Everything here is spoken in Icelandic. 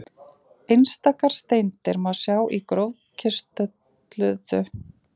Einstakar steindir má sjá í grófkristölluðu bergi, en einkum í holufyllingum.